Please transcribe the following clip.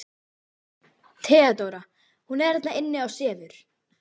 THEODÓRA: Hún er þarna inni og sefur.